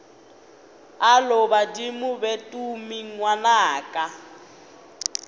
alo badimo be tumi ngwanaka